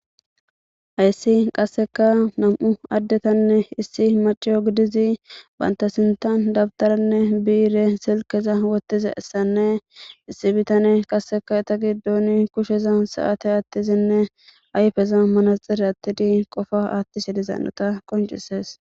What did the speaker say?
Hayissi qaseka nam'u addetanne issi macciyo giddizi bantta sintan dabtarenne biire silkkeza wottizayisanne issi bittaney qaseka eta giddoni kushsheza sate attizanne ayiffeza manxxire attidi qoppa attishe diza hanota qonccises.